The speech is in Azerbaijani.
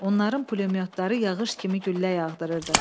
Onların pulemyotları yağış kimi güllə yağdırırdı.